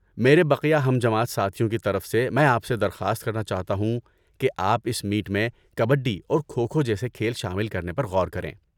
میرے بقیہ ہم جماعت ساتھیوں کی طرف سے میں آپ سے درخواست کرنا چاہتا ہوں کہ آپ اس میٹ میں کبڈی اور کھو کھو جیسے کھیل شامل کرنے پر غور کریں۔